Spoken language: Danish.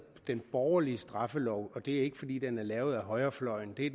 den borgerlige straffelov og det er ikke fordi den er lavet af højrefløjen det er